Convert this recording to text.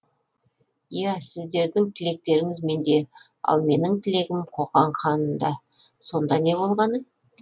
иә сіздердің тілектеріңіз менде ал менің тілегім қоқан ханында сонда не болғаны